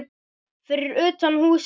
Fyrir utan húsið beið